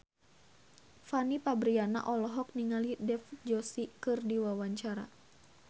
Fanny Fabriana olohok ningali Dev Joshi keur diwawancara